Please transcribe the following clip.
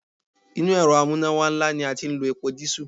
Inú Èrọ amúnáwá ńlá ni a ti ń lo epo dísù.